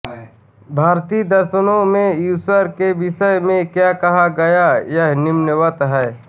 भारतीय दर्शनों में ईश्वर के विषय में क्या कहा गया है वह निम्नवत् है